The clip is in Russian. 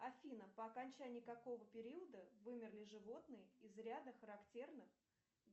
афина по окончании какого периода вымерли животные из ряда характерных